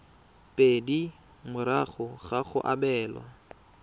pedi morago ga go abelwa